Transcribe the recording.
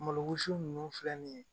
Malo wusu ninnu filɛ nin ye